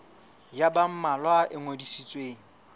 ya ba mmalwa e ngodisitsweng